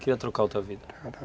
Queria trocar outra vida